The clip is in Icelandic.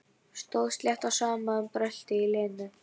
Stóð slétt á sama um bröltið í Lenu.